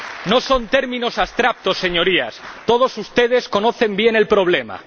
No son términos abstractos, Señorías todos ustedes conocen bien el problema.